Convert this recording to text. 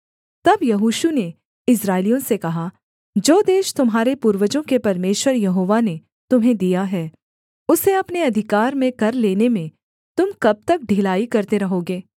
तब यहोशू ने इस्राएलियों से कहा जो देश तुम्हारे पूर्वजों के परमेश्वर यहोवा ने तुम्हें दिया है उसे अपने अधिकार में कर लेने में तुम कब तक ढिलाई करते रहोगे